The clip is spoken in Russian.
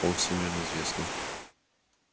он всемирно известный